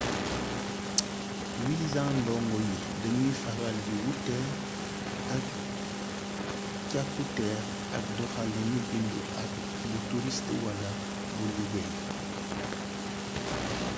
wisa ndongo yi dañuy faral di wuuteel ay càkkutéef ak doxaliinu bindu ak bu turist wala bu liggéey